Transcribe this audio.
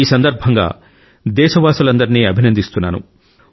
ఈ సందర్భంగా దేశవాసులందరినీ అభినందిస్తున్నాను